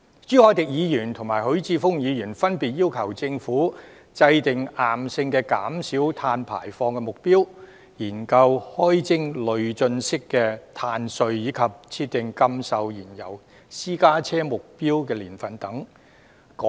朱凱廸議員及許智峯議員分別要求政府制訂硬性的減少碳排放目標、研究開徵累進式的"碳稅"，以及設定禁售燃油私家車的目標年份等。